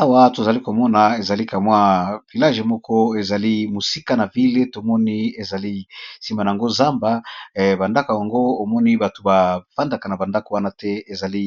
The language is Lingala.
Awa tozali komona ezali kamwa village moko ezali mosika na ville, tomoni ezali nsima nango zamba ba ndako yango omoni bato ba fandaka na ba ndako wana te ezali